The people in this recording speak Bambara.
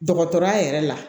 Dɔgɔtɔrɔya yɛrɛ la